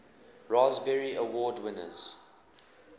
raspberry award winners